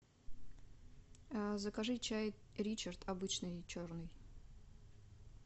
закажи чай ричард обычный черный